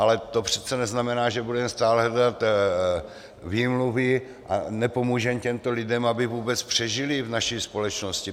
Ale to přece neznamená, že budeme stále hledat výmluvy a nepomůžeme těmto lidem, aby vůbec přežili v naší společnosti.